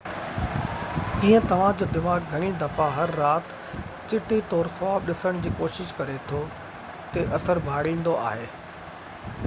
ڪيئن توهان جو دماغ گهڻي دفعا هر رات چٽي طور خواب ڏسڻ جي ڪوشش ڪري ٿو تي اثر ڀاڙيندو آهي